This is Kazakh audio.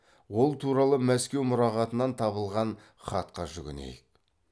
ол туралы мәскеу мұрағатынан табылған хатқа жүгінейік